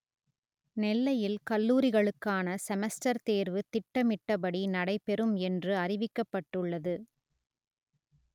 நெ‌ல்லை‌யி‌ல் க‌ல்லூ‌ரிகளு‌க்கான செம‌ஸ்ட‌ர் தே‌ர்வு ‌தி‌ட்ட‌மி‌‌ட்டபடி நடைபெறு‌ம் எ‌ன்று அ‌றிவிக்க‌ப்ப‌ட்டு‌ள்ளது